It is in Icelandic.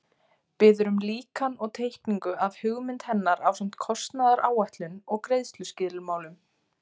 Biður um líkan og teikningu af hugmynd hennar ásamt kostnaðaráætlun og greiðsluskilmálum.